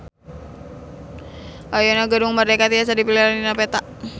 Ayeuna Gedung Merdeka tiasa dipilarian dina peta